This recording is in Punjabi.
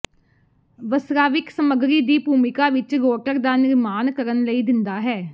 ਵਸਰਾਵਿਕ ਸਮੱਗਰੀ ਦੀ ਭੂਮਿਕਾ ਵਿਚ ਰੋਟਰ ਦਾ ਨਿਰਮਾਣ ਕਰਨ ਲਈ ਦਿੰਦਾ ਹੈ